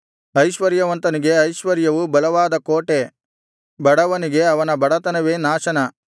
ಐಶ್ವರ್ಯವಂತನಿಗೆ ಐಶ್ವರ್ಯವು ಬಲವಾದ ಕೋಟೆ ಬಡವನಿಗೆ ಅವನ ಬಡತನವೇ ನಾಶನ